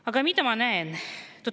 Aga mida ma näen?